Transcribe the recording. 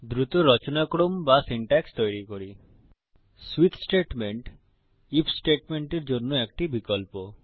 switch statement IF স্টেটমেন্টের জন্য একটি বিকল্প